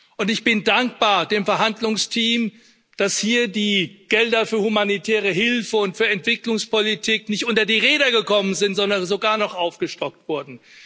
Und ich bin dem Verhandlungsteam dankbar, dass hier die Gelder für humanitäre Hilfe und für Entwicklungspolitik nicht unter die Räder gekommen sind, sondern sogar noch aufgestockt wurden.